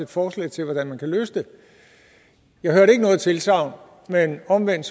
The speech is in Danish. forslag til hvordan man kan løse det jeg hørte ikke noget tilsagn men omvendt